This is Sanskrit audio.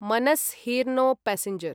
Manas rhino passenger